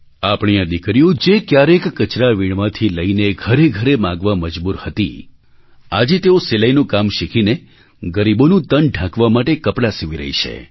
આપણી આ દીકરીઓ જે ક્યારેક કચરા વીણવાથી લઈને ઘરેઘરે માગવા મજબૂર હતી આજે તેઓ સીલાઈનું કામ શીખીને ગરીબોનું તન ઢાંકવા માટે કપડાં સીવી રહી છે